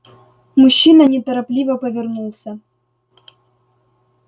мужчина неторопливо повернулся